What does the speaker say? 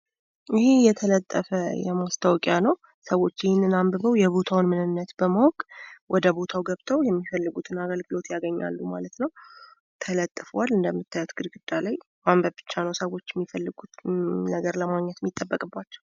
ይህ የተለጠፈ ማስታወቂያ ነው። ሰዎች ይህንን አንብበው የቦታውን ምንነት በማወቅ ወደ ቦታው ገብተው የሚፈልጉትን አገልግሎት ያገኛሉ ማለት ነው።